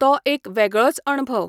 तो एक वेगळोच अणभव.